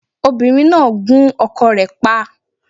Obìnrín náà gún ọkọ rẹ̀ pa